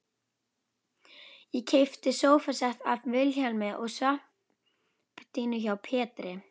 Ég keypti sófasett af Vilhjálmi og svampdýnu hjá Pétri